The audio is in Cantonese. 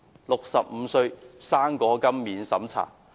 65歲'生果金'免審查！